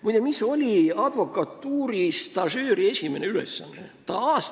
Muide, mis oli advokatuuri stažööri esimene ülesanne?